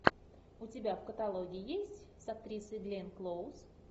у тебя в каталоге есть с актрисой гленн клоуз